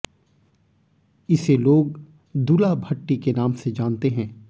इसे लोग दुला भट्टी के नाम से जानते हैं